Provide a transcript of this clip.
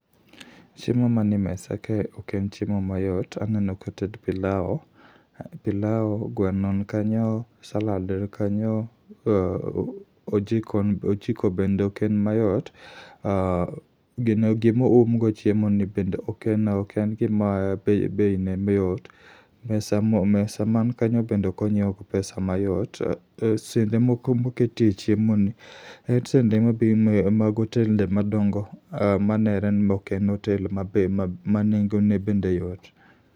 Chiemo mane mesa kae ok en chiemo mayot, aneno koted pilao. Pilao, gweno nkanyo, salad nkanyo, ojiko bende ok en mayot. Gino gimoum go chiemo ni bende ok en gima bei ne yot. Mesa man kanyo bende okonyiew gi pesa mayot. Sende moko moketie chiemo ni, en sende mag otende madongo manere ni ok en otel ma be nengone bende yot.